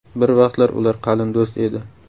Bir vaqtlar ular qalin do‘st edi.